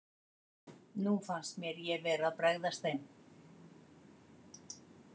Nú fannst mér ég vera að bregðast þeim.